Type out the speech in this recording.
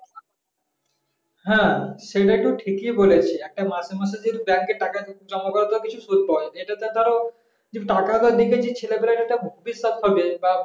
হ্যাঁ সেটা তো ঠিকই বলেছিস একটা মাসে মাসে যে bank এ টাকা জমা করাতে বেশি সুদ পাওয়া যায়। এটাতে ধরো টাকাটা দিয়ে যে ছেলেপেলেদের একটা ভবিষ্যৎ হবে বা